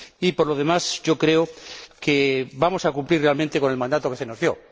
Y, por lo demás, yo creo que vamos a cumplir realmente con el mandato que se nos dio.